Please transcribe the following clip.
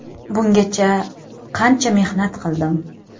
Bungacha qancha mehnat qildim.